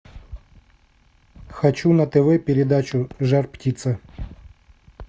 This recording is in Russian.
хочу на тв передачу жар птица